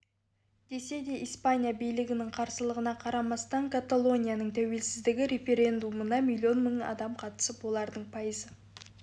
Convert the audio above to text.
десе де испания билігінің қарсылығына қарамастан каталонияның тәуелісіздік референдумына миллион мың адам қатысып олардың пайызы